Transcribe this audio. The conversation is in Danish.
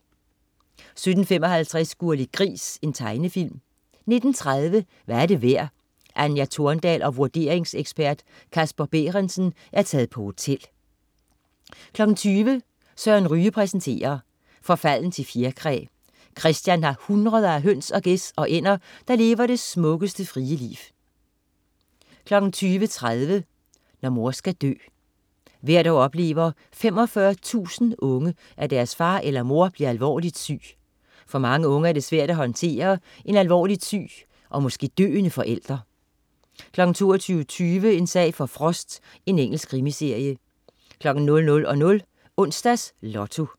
17.55 Gurli Gris. Tegnefilm 19.30 Hvad er det værd? Anja Thordal og vurderingsekspert Casper Behrendtzen er taget på hotel 20.00 Søren Ryge præsenterer. Forfalden til fjerkræ. Kristian har hundreder af høns og gæs og ænder, der lever det smukkeste, frie liv 20.30 Når mor skal dø. Hvert år oplever 45.000 unge, at deres far eller mor bliver alvorligt syg. For mange unge er det svært at håndtere en alvorligt syg og måske døende forælder 22.20 En sag for Frost. Engelsk krimiserie 00.00 Onsdags Lotto